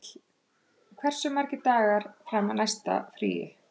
Vífill, hversu margir dagar fram að næsta fríi?